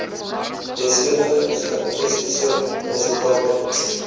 deskundige statistiese resultate